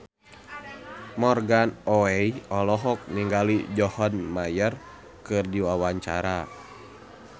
Morgan Oey olohok ningali John Mayer keur diwawancara